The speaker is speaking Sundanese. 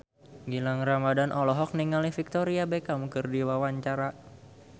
Gilang Ramadan olohok ningali Victoria Beckham keur diwawancara